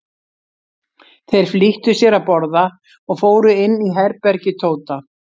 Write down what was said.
Þeir flýttu sér að borða og fóru inn í herbergi Tóta.